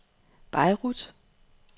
Beirut